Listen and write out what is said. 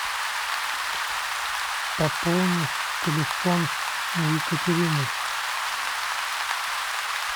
пополни телефон екатерины